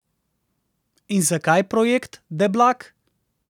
In zakaj projekt Deblak?